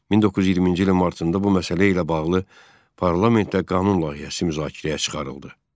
1920-ci ilin martında bu məsələ ilə bağlı parlamentdə qanun layihəsi müzakirəyə çıxarıldı.